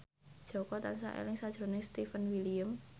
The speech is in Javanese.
Jaka tansah eling sakjroning Stefan William